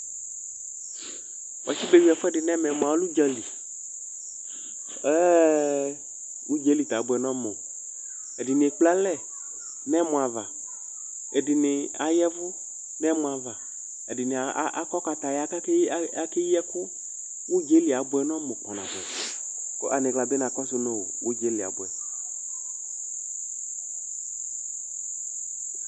Wuatsi beyʋi ɛfʋɛdɩ nʋ ɛmɛ mʋa ɔlɛ udzǝli Ɛɛ udza yɛ li sɛ abʋɛ nʋ ɔmʋ Ɛdɩnɩ ekple alɛ nʋ ɛmɔ ava, ɛdɩnɩ ayavu nʋ ɛmɔ ava, ɛdɩnɩ akɔ kataya, kʋ akeyi ɛkʋ Udza yɛ li abʋɛ nʋ ɔmʋ kpanabʋɛ, kʋ aniɣla bɩ na kɔsʋ nʋ udza yɛ li abʋɛ